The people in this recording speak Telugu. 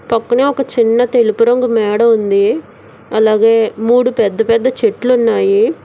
పక్కనే ఒక చిన్న తెలుపు రంగు మేడ ఉంది అలాగే మూడు పెద్ద పెద్ద చెట్లు ఉన్నాయి.